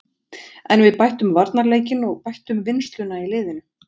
En við bættum varnarleikinn og bættum vinnsluna í liðinu.